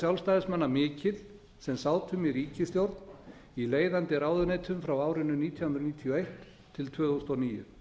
sjálfstæðismanna mikil sem sátum í ríkisstjórn í leiðandi ráðuneytum frá árinu nítján hundruð níutíu og eitt til tvö þúsund og níu